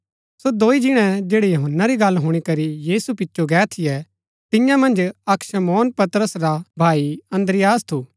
सो दोई जिणै जैड़ै यूहन्‍ना री गल्ल हुणी करी यीशु पिचो गै थियै तियां मन्ज अक्क शमौन पतरस रा भाई अन्द्रियास थू